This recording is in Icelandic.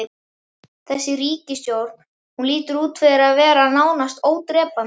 Þessi ríkisstjórn, hún lítur út fyrir að vera nánast ódrepandi?